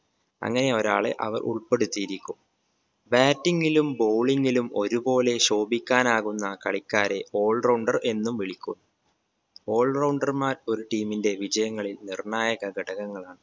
അങ്ങനെ ഒരാളെ അവർ ഉൾപ്പെടുത്തിയിരിക്കും bating ലും bowling ലും ഒരുപോലെ ശോഭിക്കാനാകുന്ന കളിക്കാരെ all rounder എന്നും വിളിക്കും all rounder മാർ ഒരു team ന്റെ വിജയങ്ങളിൽ നിർണ്ണായക ഘടകങ്ങളാണ്